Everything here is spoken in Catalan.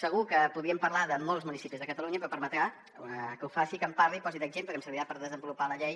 segur que podríem parlar de molts municipis de catalunya però em permetrà que parli que posi d’exemple que em servirà per desenvolupar la llei